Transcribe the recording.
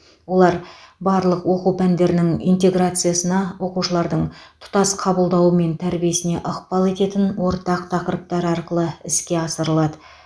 олар барлық оқу пәндерінің интеграциясына оқушылардың тұтас қабылдауы мен тәрбиесіне ықпал ететін ортақ тақырыптар арқылы іске асырылады